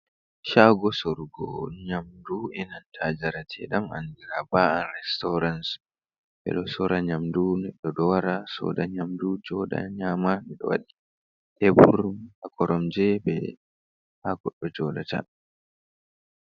Shago sorgo nyamdu e nanta jarate ɗam andina ba'a resturance, ɓeɗo sora nyamdu, neɗɗo ɗo wara soda yamdu joɗa nyama, wodi tebur be koromje ha goɗɗo Jo ɗata.